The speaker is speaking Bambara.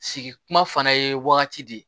Sigi kuma fana ye wagati de ye